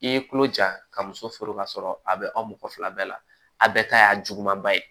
I ye tulo ja ka muso furu ka sɔrɔ a bɛ aw mɔgɔ fila bɛɛ la a bɛɛ ta y'a juguman ba ye